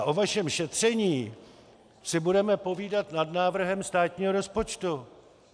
A o vašem šetření si budeme povídat nad návrhem státního rozpočtu!